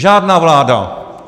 Žádná vláda.